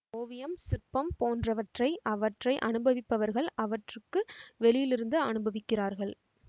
ஓவியம் சிற்பம் போன்றவற்றை அவற்றை அனுபவிப்பவர்கள் அவற்றுக்கு வெளியிலிருந்து அனுபவிக்கிறார்கள்